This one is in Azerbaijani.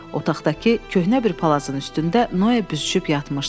Otaqdakı köhnə bir palazın üstündə Noa büzüşüb yatmışdı.